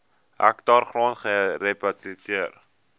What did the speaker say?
hektaar grond gerehabiliteer